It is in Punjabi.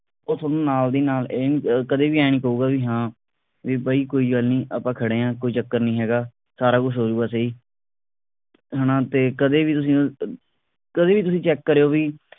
ਉਹ ਤੁਹਾਨੂੰ ਨਾਲ ਦੀ ਨਾਲ ਇਹ ਨੀ ਅਹ ਕਦੇ ਵੀ ਐ ਨਹੀਂ ਕਹੁੰਗਾ ਬਈ ਹਾਂ ਕਿ ਬਈ ਕੋਈ ਗੱਲ ਨਹੀਂ ਆਪਾ ਖੜੇ ਆ ਕੋਈ ਚੱਕਰ ਨਹੀਂ ਹੈਗਾ ਸਾਰਾ ਕੁਝ ਹੋ ਜੂਗਾ ਸਹੀ ਹਣਾ ਤੇ ਕਦੀ ਵੀ ਤੁਸੀ ਕਦੀ ਵੀ ਤੁਸੀ check ਕਰਿਉ ਬਈ